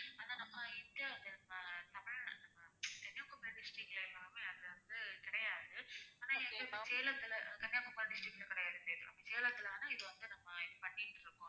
அதை நம்ம இந்தியால அஹ் தமிழ்நாட்டுல அஹ் கன்னியாக்குமரி distict ல எல்லாம் அது வந்து கிடையாது ஆனா சேலத்துல கன்னியாக்குமரி district ல கிடையாது சேலத்துல வேணா இது வந்து நம்ம பண்ணிட்டிருக்கோம்